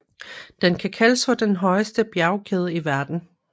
Den kan kaldes for den højeste bjergkæde i verden